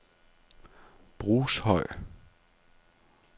Brushøj